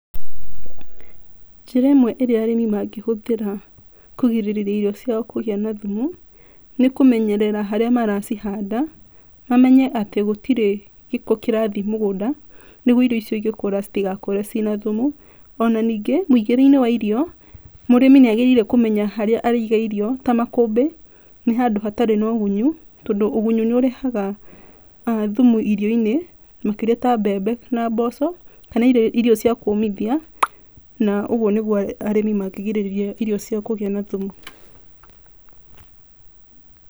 Njĩra ĩmwe ĩrĩa arĩmi mangĩhũthĩra kũgirĩrĩria irio ciao kũgĩa na thumu nĩ kũmenyerera harĩa maracihanda, mamenye atĩ gũtirĩ gĩko kĩrathiĩ mũgũnda nĩguo irio icio igĩkũra itigakũre ciĩ na thumu. Ona ningĩ, mũigĩre-inĩ wa irio, mũrĩmi nĩ agĩrĩire kũmenya harĩa araiga irio ta makũmbĩ, nĩ handũ hatarĩ na ũgunyu tondũ ũgunyu nĩ ũrehaga thumu irio-inĩ, makĩrĩa ta mbembe na mboco, kana irio cia kũmithia na ũguo nĩguo arĩmi mangĩgirĩrĩria irio ciao kũgĩa na thumu.